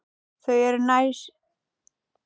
Þau eru næst.